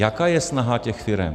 Jaká je snaha těch firem?